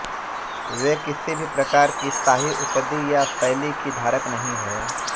वे किसी भी प्रकार की शाही उपदि या शैली की धारक नहीं हैं